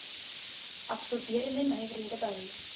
absorberende nywerhede bou